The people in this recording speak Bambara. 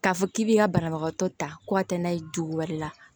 K'a fɔ k'i b'i ka banabagatɔ ta ko a tɛ na ye dugu wɛrɛ la